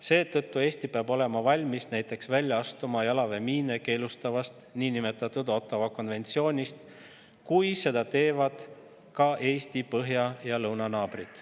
Seetõttu peab Eesti olema valmis näiteks välja astuma jalaväemiine keelustavast Ottawa konventsioonist, kui seda teevad ka Eesti põhja‑ ja lõunanaabrid.